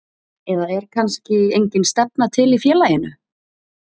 Eða er kannski engin stefna til í félaginu?